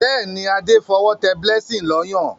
Béèni Ade f'owo té blessing ló Ọyàn.